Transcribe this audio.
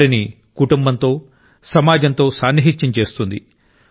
వారిని కుటుంబంతో సమాజంతో సాన్నిహిత్యం చేస్తుంది